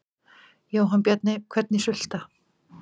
Jóhann Bjarni: Hvernig sulta?